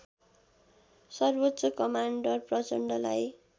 सर्वोच्च कमान्डर प्रचण्डलाई